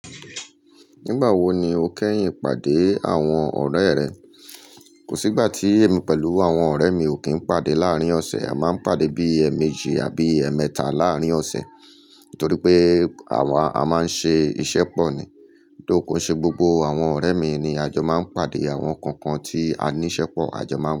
Nígbà wo ni o kẹ́yìn pàdé àwọn ọ̀rẹ́ rẹ? Kò sí ìgbà tí èmi pẹ̀lú àwọn ọ̀rẹ́ mi ò kí ń pàdé láàárín ọ̀sẹ̀. A máa ń pàdé bí ẹ̀méjì àbí ẹ̀mẹ́ta láàárín ọ̀sẹ̀ torí pé àwa a máa ń ṣe iṣẹ́ pọ̀ ni. Though, ko se gbogbo àwọn ọ̀rẹ́ mi ni a jọ máa ń pàdé, àwọn kookan tí a níí ṣẹ́pọ̀ a jọ máa ń.